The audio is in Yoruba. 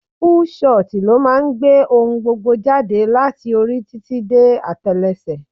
Full shot ló máa ń gbé ohun gbogbo jáde láti orí títí dé atelese.